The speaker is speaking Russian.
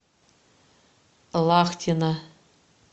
лахтина